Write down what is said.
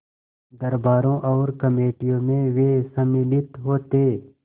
दरबारों और कमेटियों में वे सम्मिलित होते